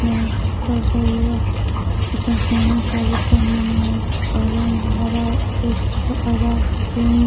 lens के जरिये एक आसमानी साड़ी पहने हुए है ऑरेंज हरा एक हरा पिंक --